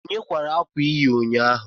Onye kwara akwa ị yi ụnyaahụ?